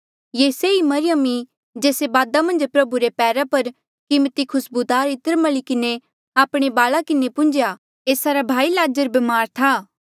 ये सेई मरियम ई जेस्से बादा मन्झ प्रभु रे पैरा पर कीमती खुस्बूदार इत्र मली किन्हें आपणे वाल्आ किन्हें पुन्झ्या एस्सा रा भाई लाज़र ब्मार था